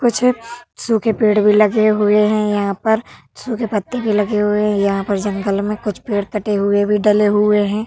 कुछ सूखे पेड़ भी लगे हुए हैं यहां पर सूखे पत्ते भी लगे हुए हैं यहाँ पर जंगल में कुछ पेड़ कटे हुए भी डले हुए हैं।